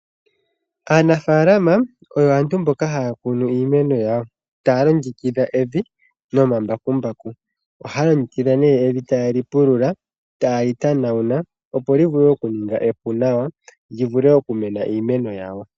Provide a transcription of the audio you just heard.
Aanafaalama oyo aantu mboka haya kunu iimeno, taya longekidha evi nomambakumbaku. Ohaya longekidha evi ta yeli pulula, ta yeli tanawula opo livule okuninga epu nawa livule okumena iimeno.